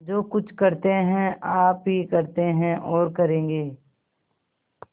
जो कुछ करते हैं आप ही करते हैं और करेंगे